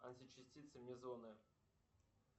античастицы мезоны